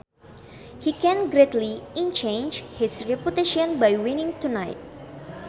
He can greatly enhance his reputation by winning tonight